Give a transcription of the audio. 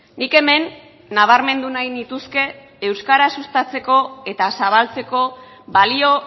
nik hemen nabarmendu nahi nituzke euskara sustatzeko eta zabaltzeko balio